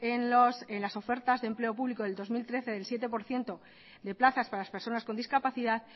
en las ofertas de empleo público del dos mil trece del siete por ciento de plazas para las personas con discapacidad